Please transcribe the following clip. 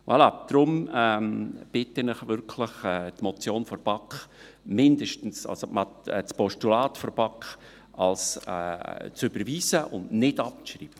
Voilà, deshalb bitte ich Sie wirklich, das Postulat der BaK zu überweisen und nicht abzuschreiben.